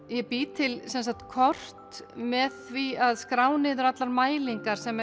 ég bý til kort með því að skrá niður allar mælingar sem